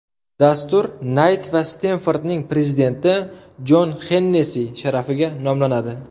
Dastur Nayt va Stenfordning prezidenti Jon Xennessi sharafiga nomlanadi.